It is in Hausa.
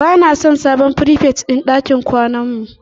Ba na son sabon frifet din ɗakin kwanan mu